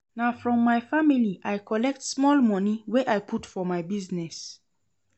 Na from my family I collect small moni wey I put for my business.